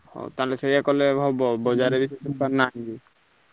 ହଉ ତାହେଲେ ସେଇଆ କଲେ ହବ।